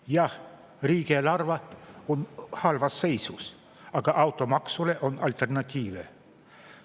Jah, riigieelarve on halvas seisus, aga automaksule on alternatiive.